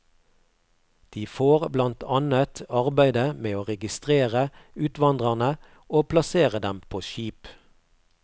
De får blant annet arbeidet med å registrere utvandrerne og plassere dem på skip.